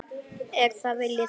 Er það vilji þinn?